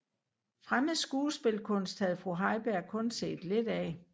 Fremmed skuespilkunst havde fru Heiberg kun set lidt af